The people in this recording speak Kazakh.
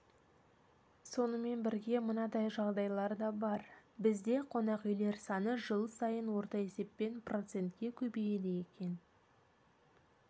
сонымен бірге мынадай жайлар да бар бізде қонақүйлер саны жыл сайын орта есеппен процентке көбейеді екен